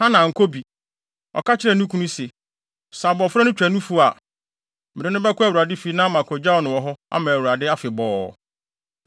Hana ankɔ bi. Ɔka kyerɛɛ ne kunu se, “Sɛ abofra no twa nufu a, mede no bɛkɔ Awurade fi na makogyaw no wɔ hɔ ama Awurade afebɔɔ.”